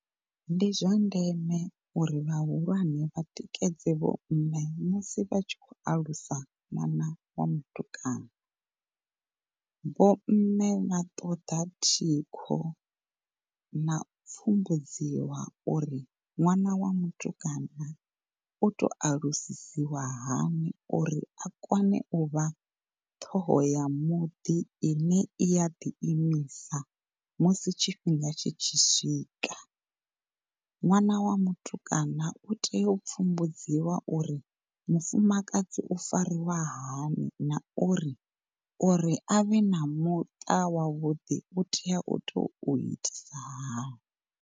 Ndi zwa ndeme uri vhahulwane vha tikedzi vho mme musi vha tshi khou alusa ṅwana wa mutukana. Vho mme vha ṱoḓa thikho na u sumbedziwa uri ṅwana wa mutukana u tou alusiswa hani uri a kone uvha ṱhoho ya muḓi ine i ya ḓiimisa musi tshifhinga tshi tshi swika. Ṅwana wa mutukana u tea u pfumbudziwa uri mufumakadzi u fariwaho hani na uri, uri avhe na muṱa wa vhuḓi u tea u to itisa hani.